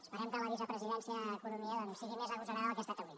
esperem que la vicepresidència d’economia sigui més agosarada del que ha estat avui